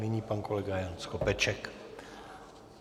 Nyní pan kolega Jan Skopeček.